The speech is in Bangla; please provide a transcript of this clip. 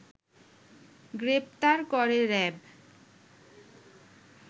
গ্রেপ্তার করে র‍্যাব